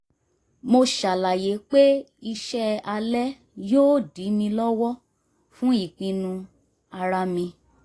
mo ṣàlàyé pé iṣẹ́ alẹ́ yóò dí mi lọ́wọ́ fún ìpinnu ara mi